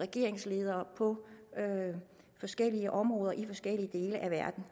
regeringsledere på forskellige områder i forskellige dele af verden